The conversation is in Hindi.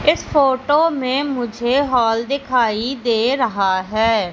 इस फोटो में मुझे हाॅल दिखाई दे रहा है।